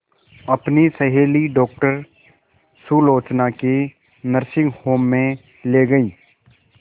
अपनी सहेली डॉक्टर सुलोचना के नर्सिंग होम में ली गई